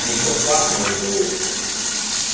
не филфак не мгу